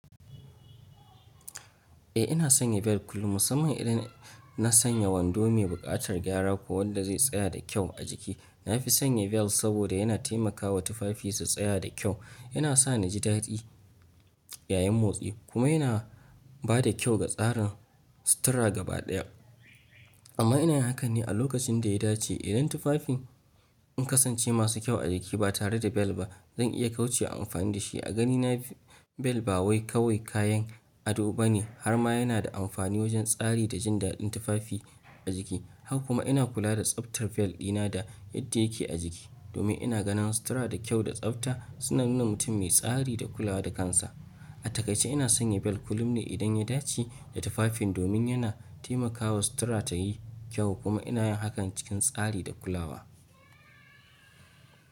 Eh ina sanya bel kullum, musamman idan na sanya wando mai buƙatar gyara ko wanda zai tsaya da kyau a jiki. Na fi sanya bel saboda yana taimakawa tufafi su tsaya da kyau, yana sa na ji daɗi yayin motsi kuma yana ba da kyau ga tsarin sutura gabaɗaya. Amma ina yin hakan ne a lokacin da ya dace. Idan tufafin sun kasance masu kyau a jiki ba tare da bel ba, zan iya kaucewa amfani da shi. A ganina bel ba wai kawai kayan ado ba ne har ma yana da amfani wajen tsari da jin daɗin tufafi a jiki. Haka kuma ina kula da tsaftar bel ɗina da yadda yake a jiki domin ina ganin sutura da kyau da tsafta suna nuna mutum mai tsari da kulawa da kansa. A takai ce ina sanya bel kullum ne idan ya dace da tufafin domin yana taimakawa sutura ta yi kyau kuma ina yin hakan cikin tsari da kulawa.